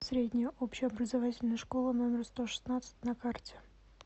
средняя общеобразовательная школа номер сто шестнадцать на карте